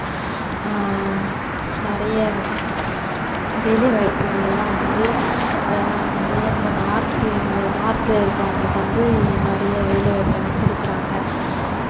ஆஹ் நிறைய வேலைவாய்ப்புகள் எல்லாம் வந்து ஆஹ் நிறைய இந்த north ல north ல இருக்குறவங்களுக்கு வந்து நிறைய வேலை வாய்ப்பு எல்லாம் கொடுக்குறாங்க.